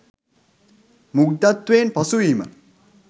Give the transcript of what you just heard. මුග්ධත්වයෙන් පසු වීම.